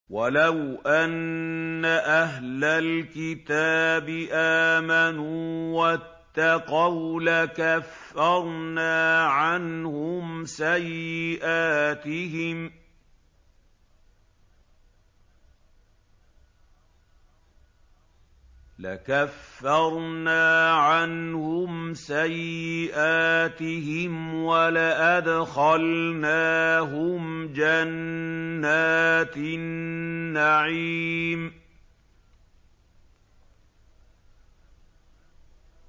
وَلَوْ أَنَّ أَهْلَ الْكِتَابِ آمَنُوا وَاتَّقَوْا لَكَفَّرْنَا عَنْهُمْ سَيِّئَاتِهِمْ وَلَأَدْخَلْنَاهُمْ جَنَّاتِ النَّعِيمِ